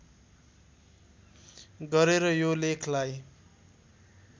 गरेर यो लेखलाई